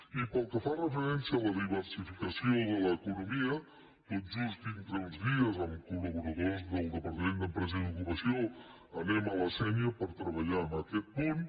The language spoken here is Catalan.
i pel que fa referència a la diversificació de l’economia tot just dintre d’uns dies amb col·laboradors del departament d’empresa i ocupació anem a la sénia per treballar en aquest punt